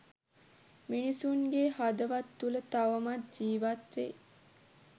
මිනිසුන්ගේ හදවත් තුල තවමත් ජීවත් වේ